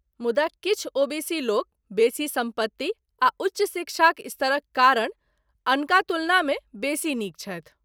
मुदा किछु ओबीसी लोक बेसी सम्पत्ति आ उच्च शिक्षाक स्तरक कारण अनका तुलनामे बेसी नीक छथि।